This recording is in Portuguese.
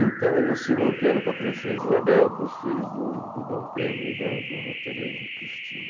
Então ele ensinou piano para a Princesa Isabel, para os filhos do do Dom Pedro e da Dona Teresa Cristina.